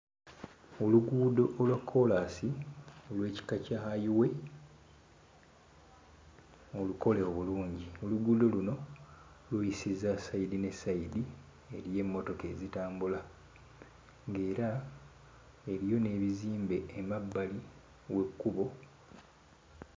Oluguudo olwa kkoolaasi olw'ekika kya highway olukole obulungi. Oluguudo luno luyisiza sayidi ne sayidi, eriyo emmotoka ezitambula, ng'era eriyo n'ebizimbe emabbali w'ekkubo.